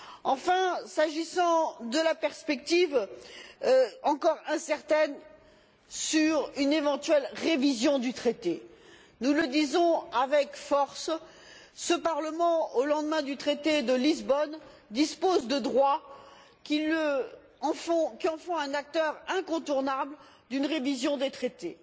Enfin, s'agissant de la perspective encore incertaine d'une éventuelle révision du traité, nous le disons avec force ce Parlement, au lendemain du traité de Lisbonne, dispose de droits qui en font un acteur incontournable d'une révision des traités.